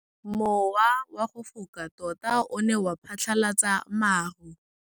Mowa o wa go foka tota o ne wa phatlalatsa maru.